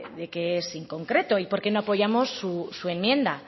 de que es inconcreto y por qué no apoyamos su enmienda